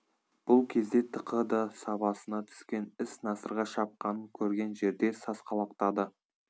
бұл кезде тықы да сабасына түскен іс насырға шапқанын көрген жерде сасқалақтады